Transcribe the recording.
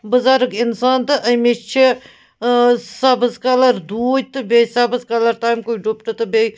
بُزرگ اِنسان تہٕ أمِس چھ آسبٕزکلر دوٗتۍ تہٕ بیٚیہِ سبٕزکلر .تٔمۍ کُے ڈُپٹہٕ تہٕ بیٚیہِ چُھ